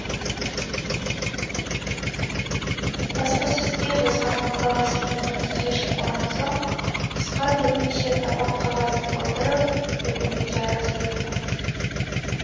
баспасөзге жазған мақаласынан нәтиже шықпаған соң асқар бірнеше табақ қағазды толтырып үкіметке арыз берді